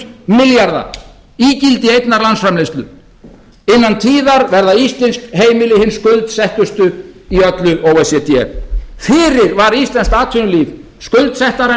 milljarða ígildi einnar landsframleiðslu innan tíðar verða íslensk heimili hin skuldsettustu í öllu o e c d fyrir var íslenskt atvinnulíf skuldsettara en